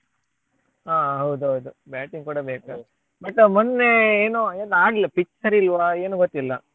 ಹಾ ಹೌದೌದು batting ಕೂಡ ಬೇಕಲ್ಲ but ಮೊನ್ನೆ ಏನೋ ಏನೋ ಆಗ್ಲಿಲ್ಲ pitch ಸರಿ ಇಲ್ವ ಏನು ಗೊತ್ತಿಲ್ಲ.